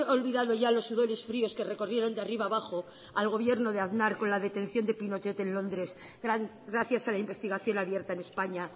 olvidado ya los sudores fríos que recorrieron de arriba a abajo al gobierno de aznar con la detención de pinochet en londres gracias a la investigación abierta en españa